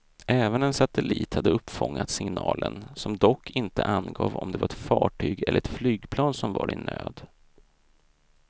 Även en satellit hade uppfångat signalen som dock inte angav om det var ett fartyg eller ett flygplan som var i nöd.